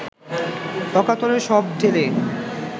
অকাতরে সব ঢেলে